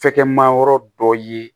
Fɛkɛma yɔrɔ dɔ ye